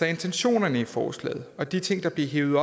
intentionerne i forslaget og de ting der blev hevet